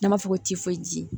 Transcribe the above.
N'an b'a fɔ ko